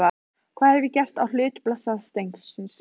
Hvað hef ég gert á hlut blessaðs drengsins?